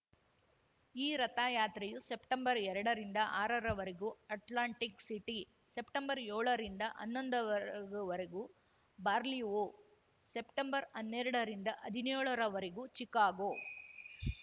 ಈ ರಥಯಾತ್ರೆಯು ಸೆಪ್ಟೆಂಬರ್ ಎರಡರಿಂದ ಆರರ ವರೆಗೂ ಅಟ್ಲಾಂಟಿಕ್‌ ಸಿಟಿ ಸೆಪ್ಟೆಂಬರ್ಯೋಳರಿಂದ ಹನ್ನೊಂದವರೆಗೂ ಬಾರ್ಲಿವೋ ಸೆಪ್ಟೆಂಬರ್ಹನ್ನೆರಡ ರಿಂದ ಹದಿನ್ಯೋಳ ವರೆಗೂ ಚಿಕಾಗೋ